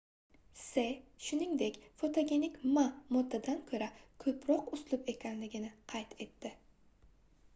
se shuningdek fotogenik ma moddadan koʻra koʻproq uslub ekanini qayd etdi